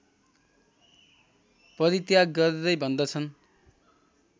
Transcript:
परित्याग गर्दै भन्दछन्